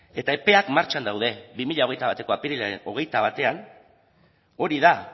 eta epeak martxan daude bi mila hogeita bateko apirilaren hogeita batean hori da